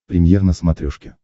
премьер на смотрешке